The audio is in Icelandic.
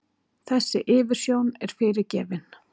Þessi yfirsjón er fyrirgefin.